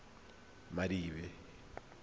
madibe